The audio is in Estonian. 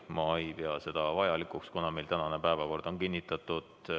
Ma ei pea seda vajalikuks, sest meie tänane päevakord on kinnitatud.